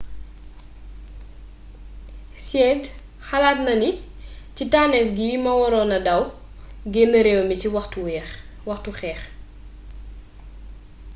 hsied xalaatna ni ci tannééf gi ma waronna daw génn réew mi ci waxtu xeex